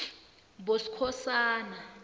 boskhosana